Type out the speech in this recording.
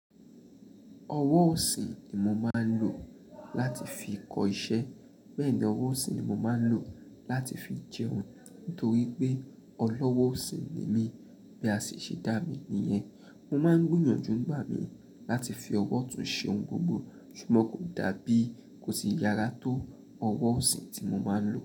Ọwọ́ ọ̀sìn ni mo máa ń lò láti fi kọ iṣẹ́, bẹ́ẹ̀ ni ọwọ́ ọ̀sìn ni mo máa ń lò láti fi jẹun. Nítorí pé ọlọ́wọ́ ọ̀sìn ni mí. Bí a sì ṣe dá mí nìyẹn. Mo máa ń gbìyànjú ń gbà mí láti fi ọwọ́ ọ̀tún ṣe ohun gbogbo. Ṣùgbọ́n kò dàbí kò sí yàrá tó ọwọ́ ọ̀sìn tí mo máa ń lò.